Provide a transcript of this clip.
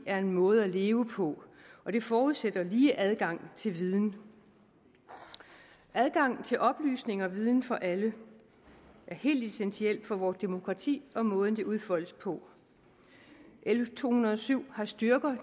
er en måde at leve på og det forudsætter lige adgang til viden adgang til oplysning og viden for alle er helt essentielt for vort demokrati og måden det udfoldes på l to hundrede og syv har styrker